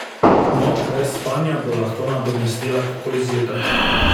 Noč brez spanja bo lahko nadomestila takoj zjutraj.